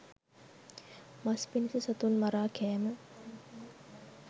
මස් පිණිස සතුන් මරා කෑම